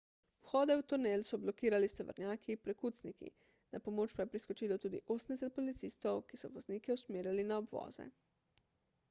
vhode v tunel so blokirali s tovornjaki prekucniki na pomoč pa je priskočilo tudi 80 policistov ki so voznike usmerjali na obvoze